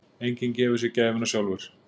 Enginn gefur sér gæfuna sjálfur.